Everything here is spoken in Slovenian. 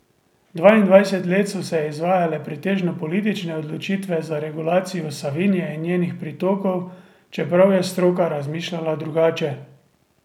Dvaindvajset let so se izvajale pretežno politične odločitve za regulacijo Savinje in njenih pritokov, čeprav je stroka razmišljala drugače.